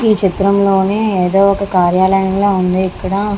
ఈ చిత్రంలోని ఏదో ఒక కార్యాలయం లాగా ఉంది. ఇక్కడ --